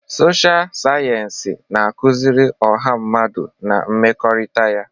Sọsha sayensị na-akụzi ọha mmadụ na mmekọrịta ya.